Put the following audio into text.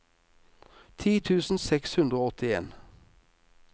ti tusen seks hundre og åttien